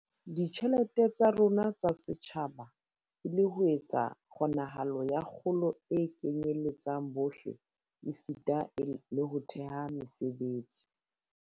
ditjhelete tsa rona tsa setjhaba e le ho etsa kgonahalo ya kgolo e kenyeletsang bohle esita le ho thea mesebetsi.